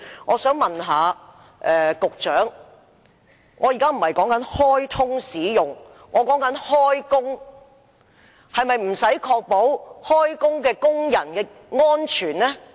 我說的不是開通使用而是開工，是否不用確保工人的安全？